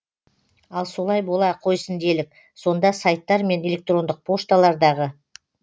ал солай бола қойсын делік сонда сайттар мен электрондық пошталардағы